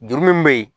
Juru min bɛ yen